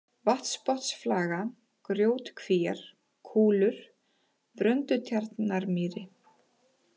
Vatnsbotnsflaga, Grjótkvíar, Kúlur, Bröndutjarnarmýri